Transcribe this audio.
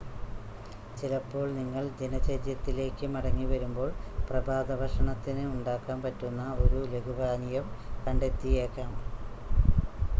ചിലപ്പോൾ നിങ്ങൾ ദിനചര്യത്തിലേക്ക് മടങ്ങി വരുമ്പോൾ പ്രഭാതഭക്ഷണത്തിന് ഉണ്ടാക്കാൻ പറ്റുന്ന ഒരു ലഘു പാനീയം കണ്ടെത്തിയേക്കാം